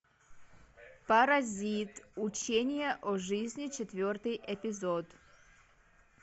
паразит учение о жизни четвертый эпизод